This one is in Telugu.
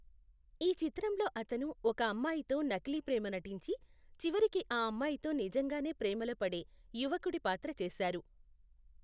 ఈ చిత్రంలో అతను ఒక అమ్మాయితో నకిలీ ప్రేమ నటించి, చివరకి ఆ అమ్మాయితో నిజంగానే ప్రేమలో పడే యువకుడి పాత్ర చేసారు.